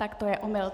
Tak to je omyl.